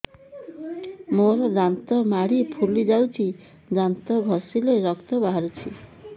ମୋ ଦାନ୍ତ ମାଢି ଫୁଲି ଯାଉଛି ଦାନ୍ତ ଘଷିଲେ ରକ୍ତ ବାହାରୁଛି